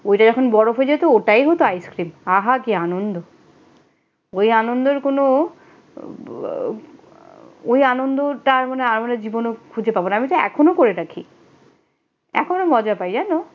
ওইটা যখন বরফ হয়ে যেত ওইটাই হতো আইসক্রিম আহা কি আনন্দ ওই আনন্দের কোন ওই আনন্দটা আর কখনো জীবনে খুঁজে পাবো না আমি তো এখনো করে থাকি এখনো মজা পাই জানো?